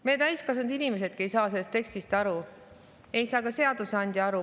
Meie, täiskasvanud inimesedki, ei saa sellest tekstist aru, ei saa ka seadusandja aru.